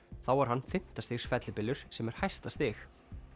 þá var hann fimmta stigs fellibylur sem er hæsta stig